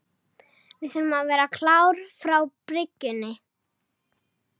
Við þurfum að vera klárir frá byrjun.